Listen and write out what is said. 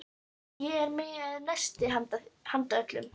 Ég er með nesti handa öllum.